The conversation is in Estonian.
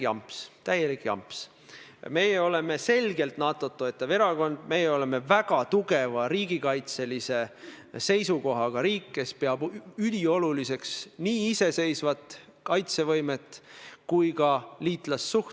Ja see teema on see, mida ütles eile Reformierakonna juht, minu arvates ka opositsiooni juht, proua Kaja Kallas: peaminister on nõus riiki reetma igal hetkel, kui ta selleks võimaluse saab.